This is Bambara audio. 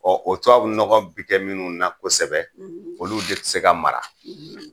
o tubabu nɔgɔ bi kɛ minnu na kosɛbɛ, , olu de bɛ se ka mara.